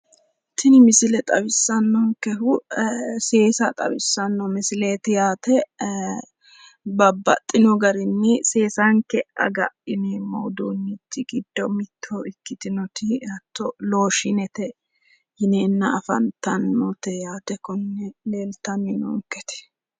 Tini misile xawisanonkehu seesa xawisano misileti yaate babbaxino garini seesanke agadhineemmori giddo afantanoti loshinete yineemmote